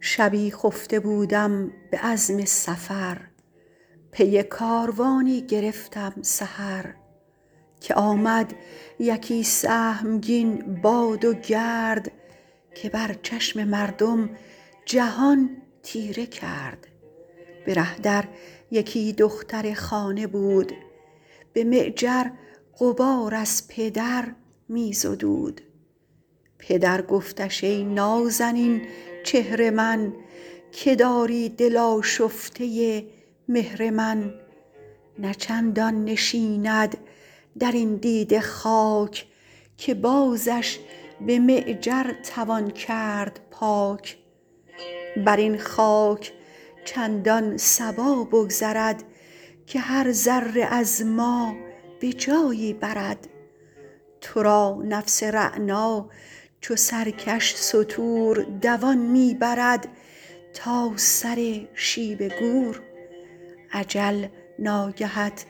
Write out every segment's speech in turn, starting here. شبی خفته بودم به عزم سفر پی کاروانی گرفتم سحر که آمد یکی سهمگین باد و گرد که بر چشم مردم جهان تیره کرد به ره در یکی دختر خانه بود به معجر غبار از پدر می زدود پدر گفتش ای نازنین چهر من که داری دل آشفته مهر من نه چندان نشیند در این دیده خاک که بازش به معجر توان کرد پاک بر این خاک چندان صبا بگذرد که هر ذره از ما به جایی برد تو را نفس رعنا چو سرکش ستور دوان می برد تا سر شیب گور اجل ناگهت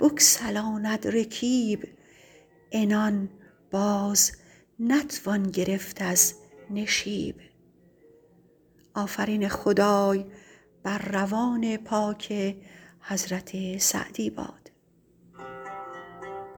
بگسلاند رکیب عنان باز نتوان گرفت از نشیب